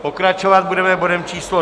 Pokračovat budeme bodem číslo